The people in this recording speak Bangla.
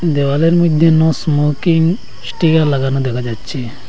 দেওয়ালের মইদ্যে নো স্মোকিং স্টিকার লাগানো দেখা যাচ্ছে।